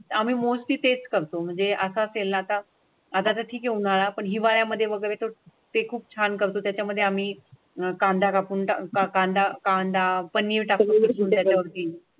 आमी म्होस्टली तेच करतो म्हणजे असा असेल नाताळ आधार घेऊन आपण हिवाळ्यामध्ये बघतो ते खूप छान करतो. त्याच्यामध्ये आम्ही अह कांदा कापून कांदा, कांदा